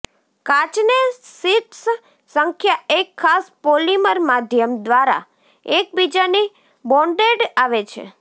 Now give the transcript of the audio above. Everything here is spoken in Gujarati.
કાચને શીટ્સ સંખ્યા એક ખાસ પોલિમર માધ્યમ દ્વારા એકબીજાની બોન્ડેડ આવે છે